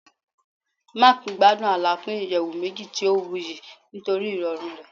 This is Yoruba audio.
Mark gbadun alapin iyẹwu meji ti o wuyi nitori irọrun rẹ